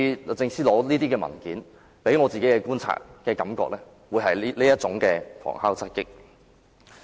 律政司這次索取文件給我的感覺，似乎是想旁敲側擊。